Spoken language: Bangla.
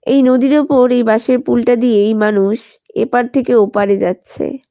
এই নদীর ওপর এই বাঁশের পুলটা দিয়েই মানুষ এপার থেকে ওপারে যাচ্ছে।